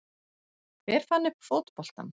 Hver fann upp fótboltann?